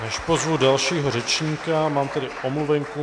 Než pozvu dalšího řečníka, mám tady omluvenku.